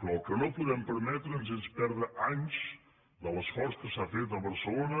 però el que no podem per·metre’ns és perdre anys de l’esforç que s’ha fet a barce·lona